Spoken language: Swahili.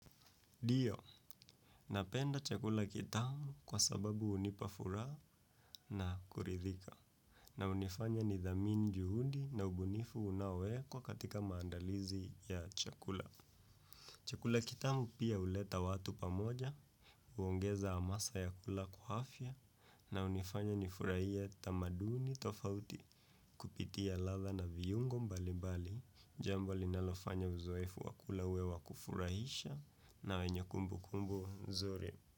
Ndio, napenda chakula kitamu kwa sababu hunipa furaha na kuridhika. Na hunifanya nithamini juhudi na ubunifu unaowekwa katika maandalizi ya chakula. Chakula kitamu pia huleta watu pamoja, huongeza hamasa ya kula kwa afya, na unifanya nifurahie tamaduni tofauti kupitia ladha na viungo mbalibali. Jambo linalofanya uzoefu wa kula uwe wa kufurahisha na wenye kumbukumbu nzuri.